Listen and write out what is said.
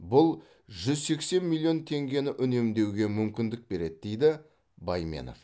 бұл жүз сексен миллион теңгені үнемдеуге мүмкіндік береді дейді байменов